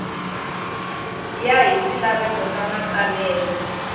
ya hi swilaveko swa matsalelo